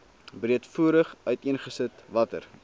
breedvoerig uiteengesit watter